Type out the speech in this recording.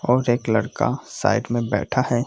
और एक लड़का साइड में बैठा है |